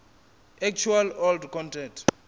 actual old content